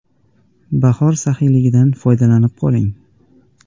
Bahor saxiyligidan foydalanib qoling!